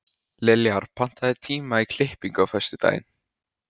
Liljar, pantaðu tíma í klippingu á föstudaginn.